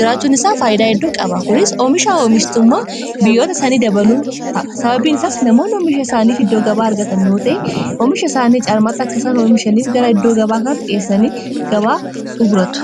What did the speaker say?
jiraachuun isaa faayyidaa guddoo qaba. Kunis oomisha fi oomistummaa biyyoota isanii dabaluu ta'a. Sababbiin isaas namoonni oomisha isaaniif iddoo gabaa argatan yoo ta'e oomisha isaanii caalmaatti akka isaan oomishaniif gara iddoo gabaa kana dhiyeessanii gabaa kanaatti gurgurataniif isaan gargaara.